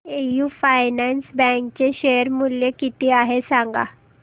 AU finance bank चे share मूल्य किती आहे सांगा